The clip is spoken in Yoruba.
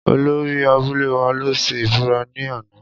Olori abule wa lo se ibura ni ana.